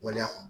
Waleya kɔnɔ